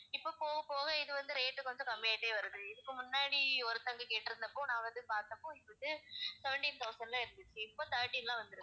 இப்ப போகப் போக இது வந்து rate கொஞ்சம் கம்மியாயிட்டே வருது இதுக்கு முன்னாடி ஒருத்தவங்க கேட்டிருந்த போது நான் வந்து பார்த்தப்போ இது வந்து seventeen thousand ல இருந்துச்சு இப்ப thirteen ல வந்திருக்கு